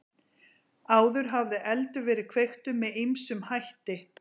Áður hafði eldur verið kveiktur með ýmsum hætti.